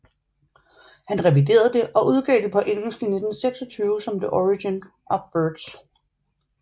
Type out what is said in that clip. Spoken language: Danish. Han reviderede det og udgav det på engelsk i 1926 som The Origin of Birds